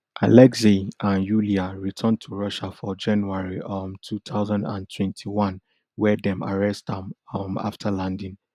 alexei and yuria return to russia for january um two thousand and twenty-one wia dem arrest am um afta landing